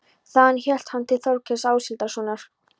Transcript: Þaðan hélt hann til Þórkels Áshildarsonar.